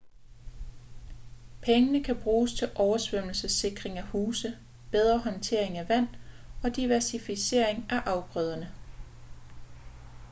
pengene kan bruges til oversvømmelsessikring af huse bedre håndtering af vand og diversificering af afgrøderne